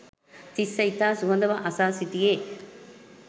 තිස්‌ස ඉතා සුහදව අසා සිටියේ